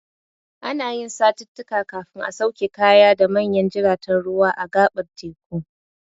Ana yin satittika kafin a sauke kaya da manyan jiraten ruwa a gaɓar teku.